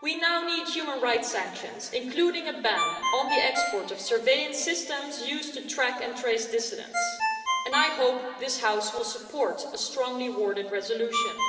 We now need human rights sanctions, including a ban on the export of surveillance systems used to track and trace dissidents, and I hope this House will support a strongly worded resolution.